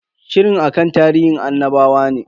Shirin akan tarihin annabawa ne.